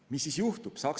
Mis siis juhtub?